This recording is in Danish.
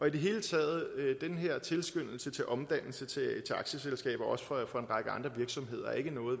i det hele taget er den her tilskyndelse til omdannelse til aktieselskaber også for en række andre virksomheder ikke noget